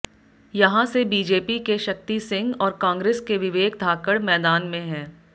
यहां से बीजेपी के शक्ति सिंह और कांग्रेस के विवेक धाकड मैदान में है